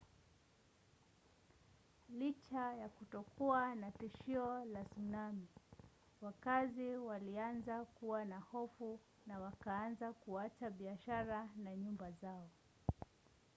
licha ya kutokuwa na tishio la tsunami wakazi walianza kuwa na hofu na wakaanza kuacha biashara na nyumba zao